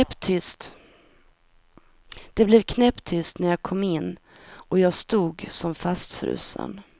Det blev knäpptyst när jag kom in och jag stod som fastfrusen.